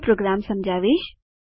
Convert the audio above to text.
હું પ્રોગ્રામ સમજાવીશ